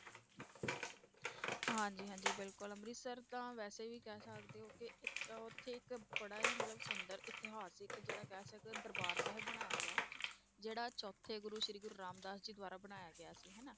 ਹਾਂਜੀ ਹਾਂਜੀ ਬਿਲਕੁਲ ਅੰਮ੍ਰਿਤਸਰ ਤਾਂ ਵੈਸੇ ਵੀ ਕਹਿ ਸਕਦੇ ਹੋ ਕਿ ਉੱਥੇ ਇੱਕ ਬੜਾ ਹੀ ਮਤਲਬ ਸੁੰਦਰ ਇਤਿਹਾਸਕ ਜਿਹੜਾ ਕਹਿ ਸਕਦੇ ਹੋ ਦਰਬਾਰ ਸਾਹਿਬ ਬਣਾਇਆ ਗਿਆ ਹੈ, ਜਿਹੜਾ ਚੌਥੇ ਗੁਰੂ ਸ੍ਰੀ ਗੁਰੂ ਰਾਮਦਾਸ ਜੀ ਦੁਆਰਾ ਬਣਾਇਆ ਗਿਆ ਸੀ ਹਨਾ।